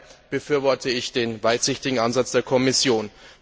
Von daher befürworte ich den weitsichtigen Ansatz der Kommission.